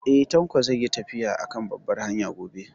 Eh, Tanko zai yi tafiya a kan babbar hanya gobe